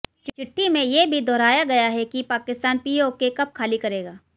चिट्ठी में ये भी दोहराया गया है कि पाकिस्तान पीओके कब ख़ाली करेगा